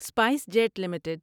spice jet limited